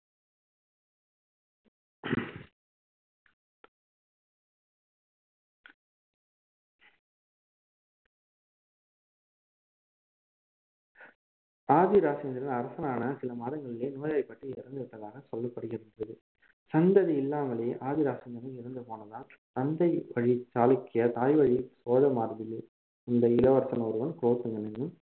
ஆதிராசேந்திரன் அரசனான சில மாதங்களிலே நோய்வாய்ப்பட்டு இறந்து விட்டதாகச் சொல்லப்படுகிறது சந்ததி இல்லாமலேயே ஆதிராசேந்திரன் இறந்து போனதால் தந்தை வழி சாளுக்கிய தாய்வழி சோழர் மரபில் வந்த இளவரசன் ஒருவன் குலோத்துங்கன்